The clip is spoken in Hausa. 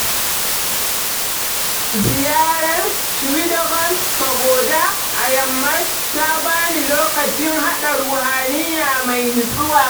Ziyarar Shwedagon Pagoda a Myanmar ta ba ni lokacin haɗa ruhaniya mai natsuwa.